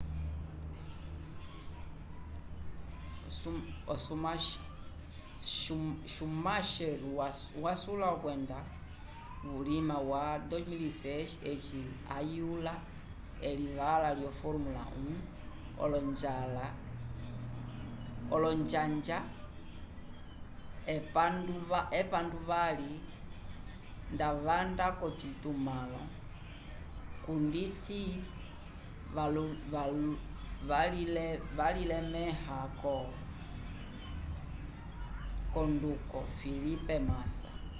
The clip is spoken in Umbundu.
schumacher wasula okwendisa vulima wa 2006 eci ayula elivala lyo formula 1 olonjanja epanduvali nda wanda k'ocitumãlo cundisi walilemẽha l'onduko felipe massa